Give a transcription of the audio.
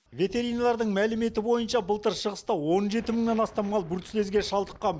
ветеринарлардың мәліметі бойынша былтыр шығыста он жеті мыңнан астам мал бруцеллезге шалдыққан